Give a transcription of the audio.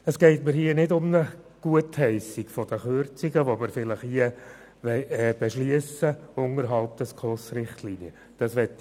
Dabei geht es mir nicht um eine Gutheissung der Kürzungen, die wir vielleicht unterhalb der SKOS-Richtlinien beschliessen werden.